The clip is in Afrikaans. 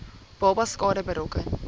babas skade berokken